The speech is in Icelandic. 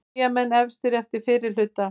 Eyjamenn efstir eftir fyrri hluta